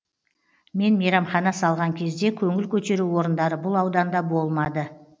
мен мейрамхана салған кезде көңіл көтеру орындары бұл ауданда болмады